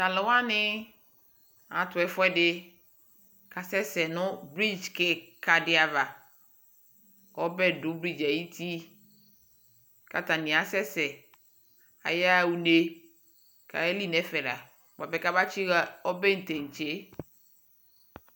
talʋ wani atʋ ɛƒʋɛdi kʋ asɛsɛ nʋ bridge kikaa di aɣa kʋ ɔbɛ dʋ bridgeɛ ayiti kʋ atani asɛsɛ kʋ ayaa ʋnɛ kʋ ayɛli nʋ ɛƒɛ la bʋapɛ kʋ aba tsi ha ɔbɛ dɛnkyɛ.